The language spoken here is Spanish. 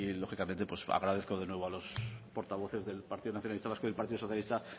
lógicamente pues agradezco de nuevo a los portavoces del partido nacionalista vasco y partido socialista